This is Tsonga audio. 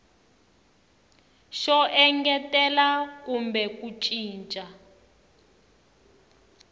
xo engetela kumbe ku cinca